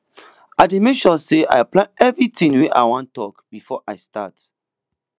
i dey make sure sey i plan everytin wey i wan tok before i start